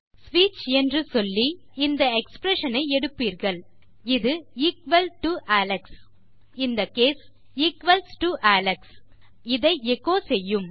ஸ்விட்ச் என்று சொல்லி இந்த எக்ஸ்பிரஷன் ஐ எடுப்பீர்கள் இது எக்குவல் டோ அலெக்ஸ் அடிப்படையில் இந்த கேஸ் ஈக்வல்ஸ் டோ அலெக்ஸ் மேலும் இதை எச்சோ செய்யும்